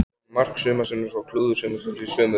Komu mark sumarsins og klúður sumarsins í sömu umferðinni?